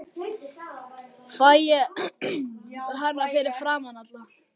Fæ ég að kyssa hana fyrir framan alla?